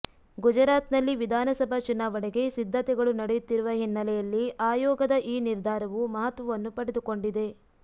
ಗುಜರಾತ್ನಲ್ಲಿ ವಿಧಾನಸಭಾ ಚುನಾವಣೆಗೆ ಸಿದ್ಧತೆಗಳು ನಡೆಯುತ್ತಿರುವ ಹಿನ್ನೆಲೆಯಲ್ಲಿ ಆಯೋಗದ ಈ ನಿರ್ಧಾರವು ಮಹತ್ವವನ್ನು ಪಡೆದುಕೊಂಡಿದೆ